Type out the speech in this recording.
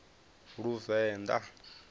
luvenḓa